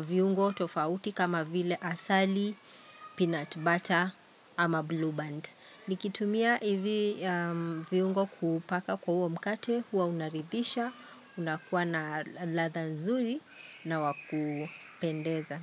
viungo tofauti kama vile asali, peanut butter ama blue band. Nikitumia hizi viungo kupaka kwa huo mkate huwa unaridisha, unakuwa na ladha nzuri na wa kupendeza.